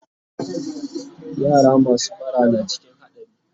yara masu bara na cikin hadari